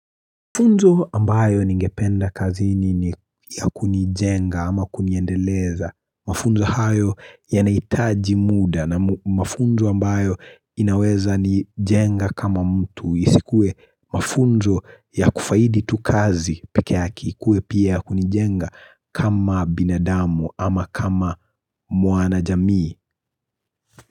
Mafunzo ambayo ningependa kazini ni ya kunijenga ama kuniendeleza. Mafunzo hayo yanaitaji muda na mafunzo ambayo inaweza nijenga kama mtu. Isikue mafunzo ya kufaidi tu kazi pekee yake ikue pia ya kunijenga kama binadamu ama kama mwanajamii.